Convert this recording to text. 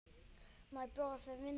Má bjóða þér vindil?